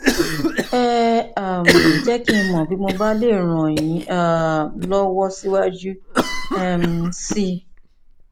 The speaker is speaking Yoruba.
ẹ um jẹ kí n mọ bí mo bá lè ràn yín um lọwọ síwájú um sí i